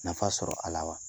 Nafa sɔrɔ a la wa